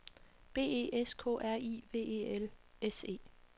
B E S K R I V E L S E